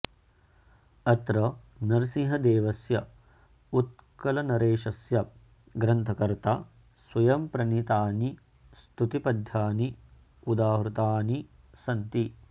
अत्र नरसिंहदेवस्य उत्कलनरेशस्य ग्रन्थकर्ता स्वयम्प्रणीतानि स्तुतिपद्यानि उदाहृतानि सन्ति